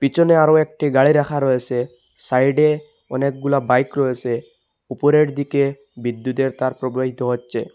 পিছনে আরো একটি গাড়ি রাখা রয়েসে সাইডে অনেকগুলো বাইক রয়েছে উপরের দিকে বিদ্যুতের তার প্রবাহিত হচ্ছে।